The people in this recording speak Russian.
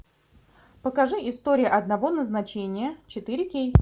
покажи история одного назначения четыре кей